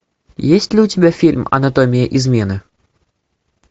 есть ли у тебя фильм анатомия измены